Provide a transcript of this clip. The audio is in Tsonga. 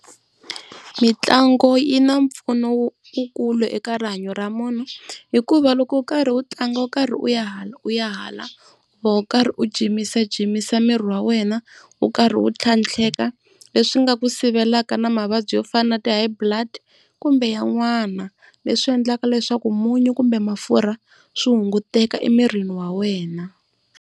Mitlangu yi na mpfuno wukulu eka rihanyo ra munhu, hikuva loko u karhi u tlanga u karhi u ya hala u ya hala u va u karhi u jimajimisa miri wa wena u nkarhi wu tlhatlheka leswi nga ku sivelaka na mavabyi yo fana na ti High Blood, kumbe yan'wana. Leswi endlaka leswaku munyu kumbe mafurha swi hunguteka emirini wa wena.